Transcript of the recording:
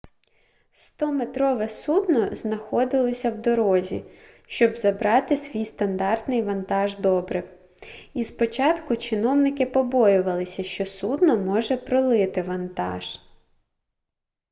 100-метрове судно знаходилося в дорозі щоб забрати свій стандартний вантаж добрив і спочатку чиновники побоювалися що судно може пролити вантаж